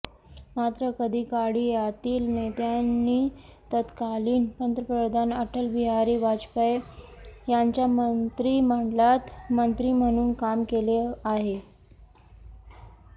मात्र कधीकाळी यातील नेत्यांनी तत्कालीन पंतप्रधान अटलबिहारी वाजपेयी यांच्या मंत्रिमंडळात मंत्री म्हणून काम केले आहे